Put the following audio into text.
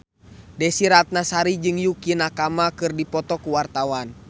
Desy Ratnasari jeung Yukie Nakama keur dipoto ku wartawan